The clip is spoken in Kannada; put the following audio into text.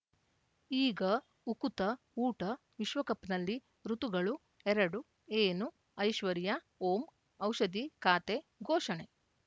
ಈಗ ಉಕುತ ಊಟ ವಿಶ್ವಕಪ್‌ನಲ್ಲಿ ಋತುಗಳು ಎರಡು ಏನು ಐಶ್ವರ್ಯಾ ಓಂ ಔಷಧಿ ಖಾತೆ ಘೋಷಣೆ